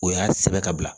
O y'a sɛbɛ ka bila